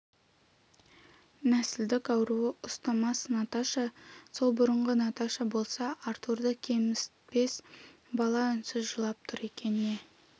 нәсілдік ауруы ұстамас наташа сол бұрынғы наташа болса артурды кемітпес бала үнсіз жылап тұр екен не